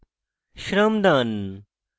shramdaan